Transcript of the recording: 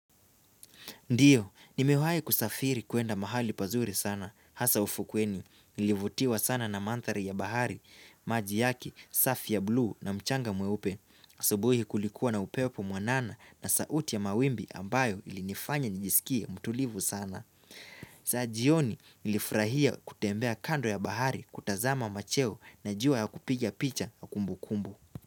Ndiyo, nimewahi kusafiri kuenda mahali pazuri sana, hasa ufukweni, nilivutiwa sana na mandhaari ya bahari, maji yaki, safi ya blu na mchanga mweupe, asabuhi kulikuwa na upepo mwanana na sauti ya mawimbi ambayo ilinifanya nijisikia mtulivu sana. Za jioni nilifurahia kutembea kando ya bahari kutazama macheo na jua ya kupigia picha ya kumbukumbu.